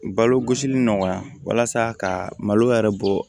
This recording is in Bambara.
Balo gosili nɔgɔya walasa ka malo yɛrɛ bɔ